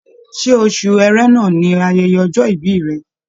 Ṣe oṣù Ẹrẹ̀nà ni ayẹyẹ ọjọ́-ìbí rẹ̀?